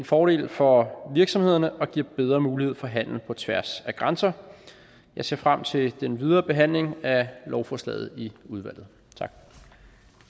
fordel for virksomhederne og giver bedre mulighed for handel på tværs af grænser jeg ser frem til den videre behandling af lovforslaget i udvalget